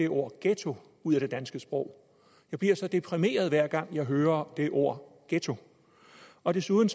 ordet ghetto ud af det danske sprog jeg bliver så deprimeret hver gang jeg hører ordet ghetto og desuden